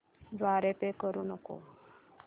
द्वारे पे करू नको